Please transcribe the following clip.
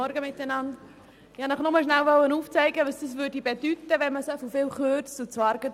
Ich möchte Ihnen kurz aufzeigen, was es bedeuten würde, wenn man derart stark kürzt.